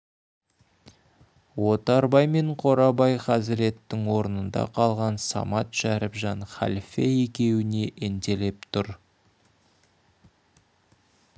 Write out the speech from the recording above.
отарбай мен қорабай хазіреттің орнында қалған самат шәріпжан халфе екеуіне ентелеп тұр